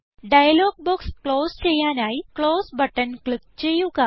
dialogue box close ചെയ്യാനായി close button click ചെയ്യുക